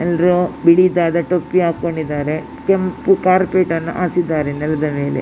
ಎಲ್ರೂ ಬಿಳಿದಾದ ಟೊಪ್ಪಿ ಹಾಕೊಂಡಿದ್ದಾರೆ. ಕೆಂಪು ಕಾರ್ಪೆಟ್ ಅನ್ನು ಹಾಸಿದ್ದಾರೆ ನೆಲದ ಮೇಲೆ --